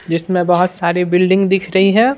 जिसमें बहुत सारी बिल्डिंग दिख रही है।